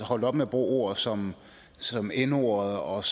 holdt op med at bruge ord som som n ordet og